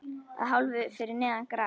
Að hálfu fyrir neðan gras.